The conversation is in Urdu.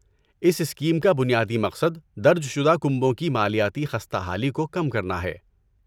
اس اسکیم کا بنیادی مقصد درج شدہ کنبوں کی مالیاتی خستہ حالی کو کم کرنا ہے۔